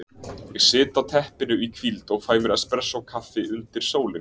Ég sit á teppinu í hvíld og fæ mér expressókaffi undir sólinni.